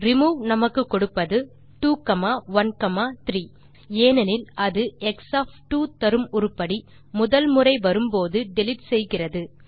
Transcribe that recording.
remove நமக்கு கொடுப்பது 213 ஏனெனில் அது x2 தரும் உருப்படி முதல் முறை வரும்போது டிலீட் செய்கிறது